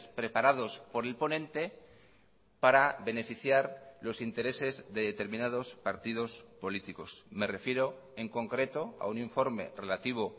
preparados por el ponente para beneficiar los intereses de determinados partidos políticos me refiero en concreto a un informe relativo